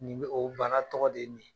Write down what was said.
Nin be, o bana tɔgɔ de ye nin ye